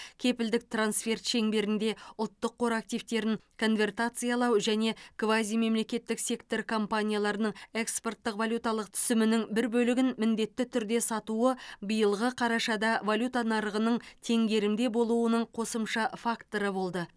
кепілдік трансферт шеңберінде ұлттық қор активтерін конвертациялау және квазимемлекеттік сектор компанияларының экспорттық валюталық түсімінің бір бөлігін міндетті түрде сатуы биылғы қарашада валюта нарығының теңгерімде болуының қосымша факторы болды